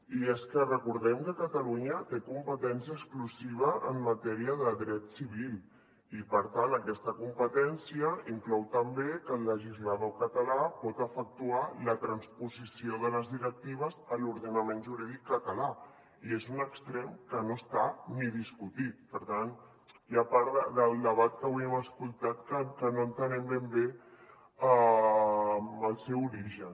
i és que recordem que catalunya té competència exclusiva en matèria de dret civil i per tant aquesta competència inclou també que el legislador català pot efectuar la transposició de les directives a l’ordenament jurídic català i és un extrem que no està ni discutit per tant hi ha part del debat que avui hem escoltat que no entenem ben bé el seu origen